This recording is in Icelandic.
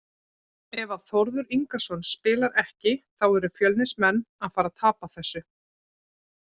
Ef að Þórður Ingason spilar ekki þá eru Fjölnismenn að fara að tapa þessu.